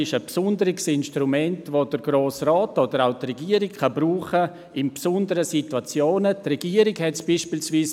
Diese ist ein besonderes Instrument, von dem der Grosse Rat oder auch die Regierung in besonderen Situationen Gebrauch machen können.